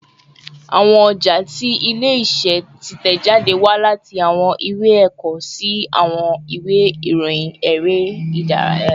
Awọn ọja ti ile-iṣẹ titẹjade wa lati awọn iwe ẹkọ si awọn iwe irohin ere idaraya